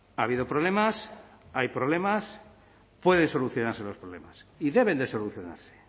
ha habido problemas hay problemas pueden solucionarse los problemas y deben de solucionarse